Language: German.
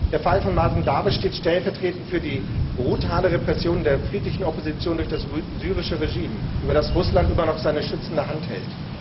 Der Fall von Mazen Darwish steht stellvertretend für die brutale Repression der friedlichen Opposition durch das syrische Regime, über das Russland immer noch seine schützende Hand hält.